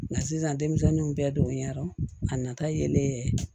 Nka sisan denmisɛnninw bɛɛ donyara a nata yelen ye